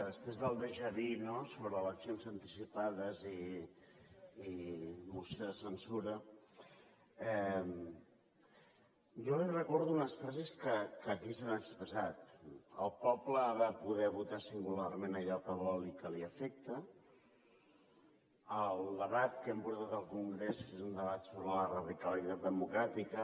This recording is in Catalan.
després del déjà vu no sobre eleccions anticipades i moció de censura jo li recordo unes frases que aquí s’han expressat el poble ha de poder votar singularment allò que vol i que l’afecta el debat que hem portat al congrés és un debat sobre la radicalitat democràtica